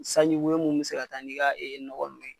Sanji woyo mun be se ka taa ni ka ee nɔgɔw ye